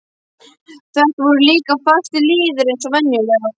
Þetta voru líka fastir liðir eins og venjulega.